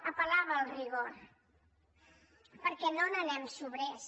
apel·lava al rigor perquè no n’anem sobrers